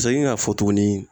Segin k'a fɔ tuguni